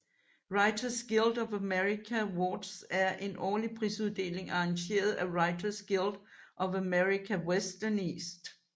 Writers Guild of America Awards er en årlig prisuddeling arrangeret af Writers Guild of America West og East